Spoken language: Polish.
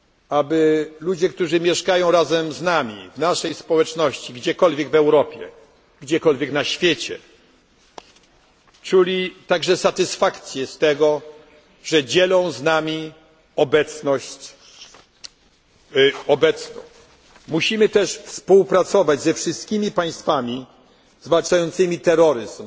integrować, aby ludzie, którzy mieszkają razem z nami, w naszej społeczności, gdziekolwiek w Europie czy na świecie, czuli także satysfakcję z tego, że dzielą z nami obecność. Musimy też współpracować ze wszystkim państwami zwalczającymi